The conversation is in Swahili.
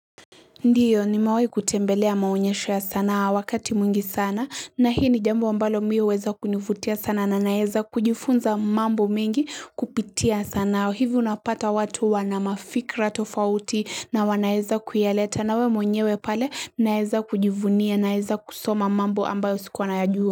Ndiyo nimewahi kutembelea maonyesho ya sanaa wakati mwingi sana na hii ni jambo ambalo mimi huweza kunivutia sana na naweza kujifunza mambo mengi kupitia sanaa. Hivi unapata watu wana mafikra tofauti na wanaweza kuyaleta na wewe mwenyewe pale naweza kujivunia naweza kusoma mambo ambayo sikuwa nayajua.